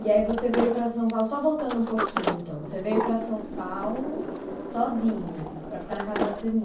E aí você veio para São Paulo, só voltando um pouquinho então, você veio para São Paulo sozinha, para ficar na casa da sua irmã.